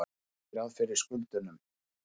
Gera ekki ráð fyrir skuldunum